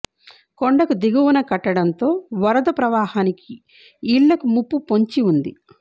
కొండకు దిగువన కట్టడంతో వరద ప్రవాహానికి ఇళ్లకు ముప్పు పొంచి ఉంది